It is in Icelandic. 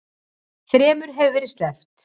Þremur hefur verið sleppt